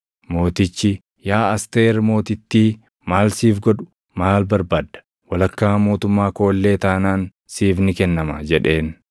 Mootichi, “Yaa Asteer Mootittii maal siif godhu? Maal barbaadda? Walakkaa mootummaa koo illee taanaan siif ni kennama” jedheen.